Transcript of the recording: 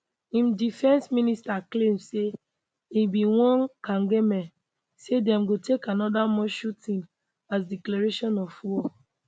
im defence minister claim say im bin warn kagame say dem go take any more shooting as declaration of war